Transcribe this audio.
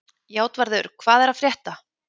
Játvarður, hvað er að frétta?